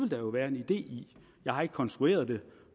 der være en idé i jeg har ikke konstrueret det